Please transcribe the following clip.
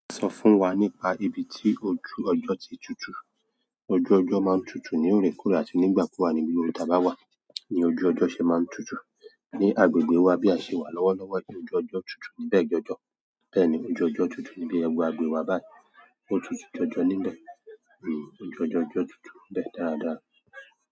Sọ fún wa nípa ibi tí ojú ọjọ́ ti tutù. Ojú ọjọaa n tutu ni orekoore àti nigbakugba ni ibi gbogbo ta ba wa, ni ojú ọjọ ṣe maa n tutu. Ní agbègbè wa bí a ṣe wà lọ́wọ́lọ́wọ́, ojú ọjọ́ tutù níbẹ̀ jọjọ. Bẹ́ẹ̀ ni ojú ọjọ́ tutu níbi ẹgbẹ́ agbègbè wa báyìí. Ó tutù jọjọ níbẹ̀. Hmm ojú ọjọ́ tutù o dẹ dáradára.